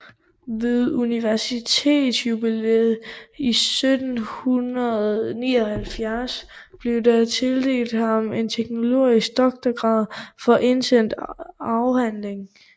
Ved universitetsjubilæet 1779 blev der tildelt ham den teologiske doktorgrad for en indsendt afhandling